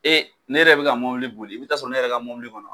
Ee ne yɛrɛ be ka mobili boli i bi taa sɔrɔ ne yɛrɛ ka mobili kɔnɔ